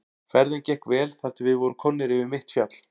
Ferðin gekk vel þar til við vorum komnir yfir mitt fjall.